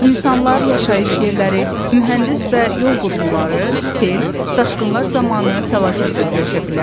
İnsanlar, yaşayış yerləri, mühəndis və yol qurğuları, sel, daşqınlar zamanı fəlakətli öləşə bilər.